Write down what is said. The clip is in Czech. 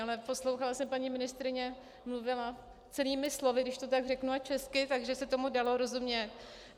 Ale poslouchala jsem, paní ministryně mluvila celými slovy, když to tak řeknu, a česky, takže se tomu dalo rozumět.